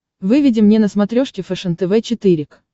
выведи мне на смотрешке фэшен тв четыре к